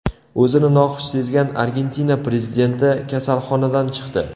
O‘zini noxush sezgan Argentina prezidenti kasalxonadan chiqdi.